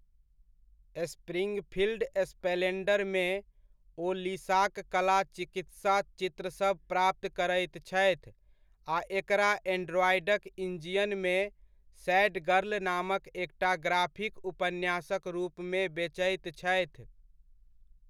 Springfield स्प्लेन्डरमे, ओ लिसाक कला चिकित्सा चित्रसभ प्राप्त करैत छथि आ एकरा एंड्रॉयडक डंजियनमे सैड गर्ल नामक एकटा ग्राफिक उपन्यासक रूपमे बेचैत छथि।